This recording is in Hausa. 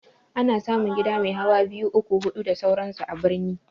Ana samun gida mai hawa biyu, uku, hudu da sauran su a birni